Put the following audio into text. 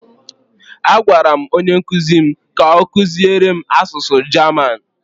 A gwara m onye nkuzi m ka ọ kuziere m asụsụ German.